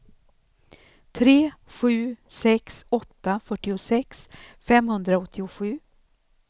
tre sju sex åtta fyrtiosex femhundraåttiosju